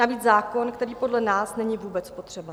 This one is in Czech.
Navíc zákon, který podle nás není vůbec potřeba.